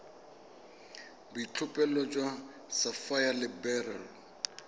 boitlhophelo jwa sapphire le beryl